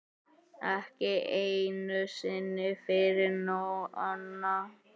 Ekki einu sinni fyrir Nonna.